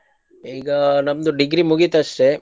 ಈಗ ನಮ್ದು degree ಮುಗಿತಷ್ಟೆ.